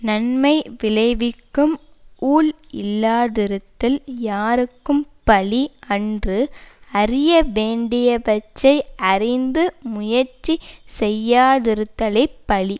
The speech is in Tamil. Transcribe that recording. நன்மை விளைவிக்கும் ஊழ் இல்லாதிருத்தல் யார்க்கும் பழி அன்று அறிய வேண்டியவற்றை அறிந்து முயற்சி செய்யாதிருத்தலே பழி